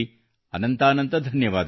ಅನಂತಾನಂತ ಧನ್ಯವಾದಗಳು